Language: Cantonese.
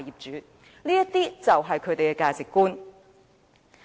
這些就是他們的價值觀。